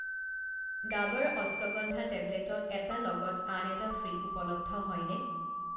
ডাৱৰ অশ্বগন্ধা টেবলেটত 'এটা লগত আন এটা ফ্ৰী' উপলব্ধ হয়নে?